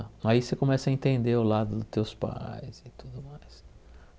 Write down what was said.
Aí você começa a entender o lado dos teus pais e tudo mais.